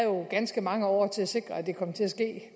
jo ganske mange år til at sikre at det kom til at ske